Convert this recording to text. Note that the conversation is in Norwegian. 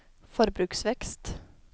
forbruksvekst